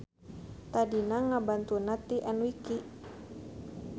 Tadina ngabantunna ti enwiki.